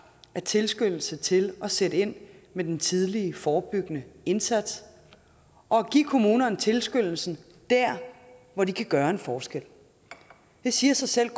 af tilskyndelse til at sætte ind med den tidlige forebyggende indsats og at give kommunerne tilskyndelsen dér hvor de kan gøre en forskel det siger sig selv at